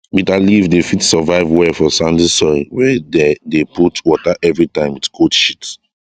bitter leaf dey fit survive well for sandy soil wey dey de put water everytime with goat shit